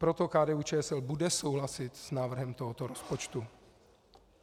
Proto KDU-ČSL bude souhlasit s návrhem tohoto rozpočtu.